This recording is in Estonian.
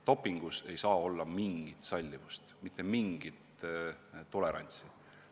Dopingu puhul ei saa olla mitte mingit sallivust, mitte mingit tolerantsi.